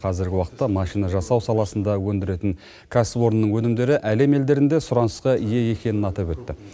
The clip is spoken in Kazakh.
қазіргі уақытта машина жасау саласында өндіретін кәсіпорынның өнімдері әлем елдерінде сұранысқа ие екенін атап өтті